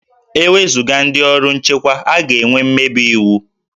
E wezuga ndị ọrụ nchekwa, a ga-enwe mmebi iwu